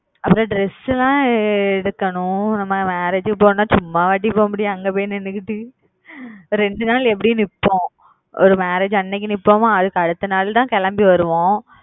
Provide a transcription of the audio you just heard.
அப்புறம் dress லாம் எடுக்கணும் நம்ம marriage க்கு போகணும்ன்னா சும்மாவாடி போக முடியும் அங்க பொய் நின்னுகிட்டு இரண்டு நாள் எப்பிடியும் நிப்போம் marriage அன்னைக்கு நிப்போமா அதுக்கு அடுத்த நாள் தான் கிளம்பி வருவோம்